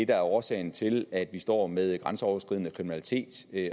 det er årsagen til at vi står med grænseoverskridende kriminalitet